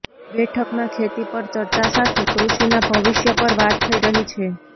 બેઠકમાં ખેતી પર ચર્ચા સાથે કૃષિના ભવિષ્ય પર વાત થઈ રહી છે